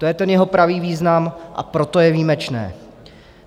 To je ten jeho pravý význam, a proto je výjimečné.